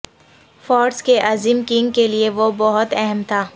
فارس کے عظیم کنگ کے لئے وہ بہت اہم تھا